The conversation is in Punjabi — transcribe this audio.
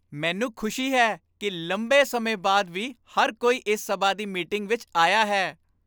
ਮੈਨੂੰ ਖੁਸ਼ੀ ਹੈ ਕਿ ਲੰਬੇ ਸਮੇਂ ਬਾਅਦ ਵੀ ਹਰ ਕੋਈ ਇਸ ਸਭਾ ਦੀ ਮੀਟਿੰਗ ਵਿੱਚ ਆਇਆ ਹੈ।